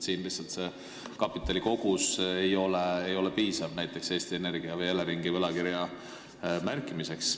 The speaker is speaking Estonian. Lihtsalt kapitali kogus ei ole piisav näiteks Eesti Energia või Eleringi võlakirja märkimiseks.